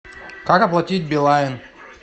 как оплатить билайн